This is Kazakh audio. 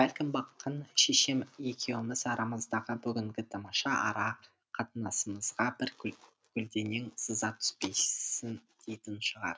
бәлкім баққан шешем екеуміз арамыздағы бүгінгі тамаша ара қатынасымызға бір көлденең сызат түспесін дейтін шығар